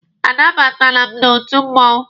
A nabatala m n'otu mmụọnwụ.